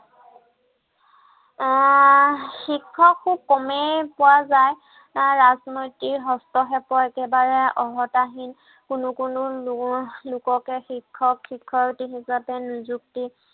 আহ শিক্ষক খুব কমেই পোৱা যায়। আহ ৰাজনৈতিক হস্তক্ষেপৰ একেবাৰে অৰ্হতাহীন কোনো কোনো উম লোককে শিক্ষক শিক্ষয়িত্ৰী হিচাপে নিযুক্তি